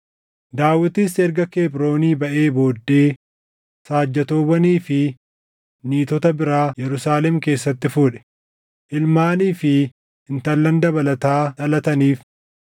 Daawitis erga Kebroonii baʼee booddee saajjatoowwanii fi niitota biraa Yerusaalem keessatti fuudhe; ilmaanii fi intallan dabalataa dhalataniif.